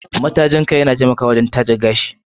Matajin kai yana taimakawa wurin taje gashi.